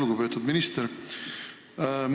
Lugupeetud minister!